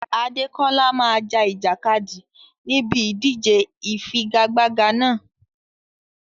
Adekola máa ja ìjàkadì níbi ìdíje ìfigagbága náà.